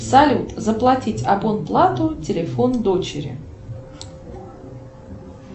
салют заплатить абонплату телефон дочери